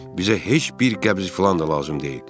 Bizə heç bir qəbz filan da lazım deyil.